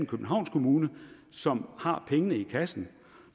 københavns kommune som har pengene i kassen